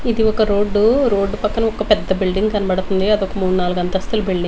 ఇది ఒక road road పక్కన ఒక పెద్ద బిల్డింగ్ కనపడుతుంది అది ఒక మూడ్ నాలుగు అంతస్తుల బిల్డింగ్ .